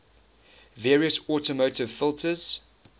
various automotive filters